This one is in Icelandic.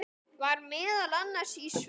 Var meðal annars í sveit.